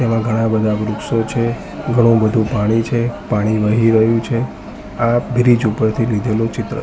એવા ઘણા બધા વૃક્ષો છે ઘણુ વધુ પાણી છે પાણી વહી રહ્યુ છે આ બ્રિજ ઉપરથી લીધેલો ચિત્ર--